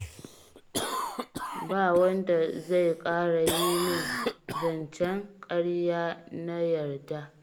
Ba wanda zai ƙara yi min zancen ƙarya na yarda